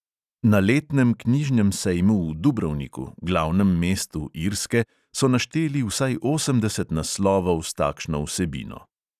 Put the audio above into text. Na letnem knjižnem sejmu v dubrovniku, glavnem mestu irske, so našteli vsaj osemdeset naslovov s takšno vsebino.